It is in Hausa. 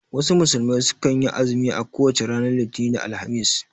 Wasu musulmai sukan yi azumi a kowace ranar Litinin da Alhamis